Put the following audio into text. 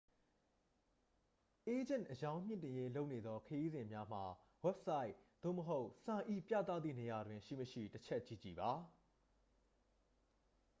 အေးဂျင့် အရောင်းမြှင့်တင်ရေးလုပ်နေသောခရီးစဉ်များမှာ ဝဘ်ဆိုက် သို့မဟုတ် ဆိုင်၏ပြသသည့်နေရာတွင် ရှိ မရှိ တစ်ချက်ကြည့်ကြည့်ပါ